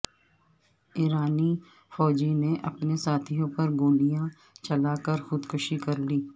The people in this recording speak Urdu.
ایرانی فوجی نے اپنے ساتھیوں پر گولیاں چلا کر خودکشی کرلی